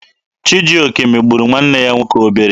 Chijioke megburu nwanne ya nwoke obere.